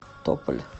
тополь